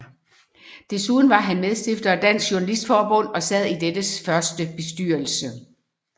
Desuden var han medstifter af Dansk Journalistforbund og sad i dettes første bestyrelse